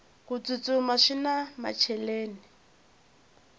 ku tsutsuma swina macheleni